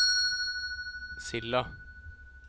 Silda